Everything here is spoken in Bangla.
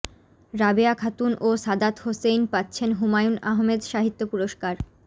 রাবেয়া খাতুন ও সাদাত হোসাইন পাচ্ছেন হুমায়ূন আহমেদ সাহিত্য পুরস্কার